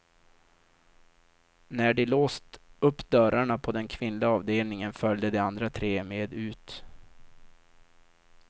När de låst upp dörrarna på den kvinnliga avdelningen följde de andra tre med ut.